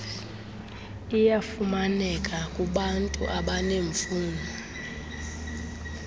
iyafumaneka kubantu abaneemfuno